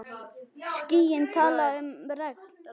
Skýin tala um regn.